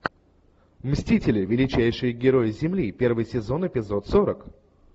мстители величайшие герои земли первый сезон эпизод сорок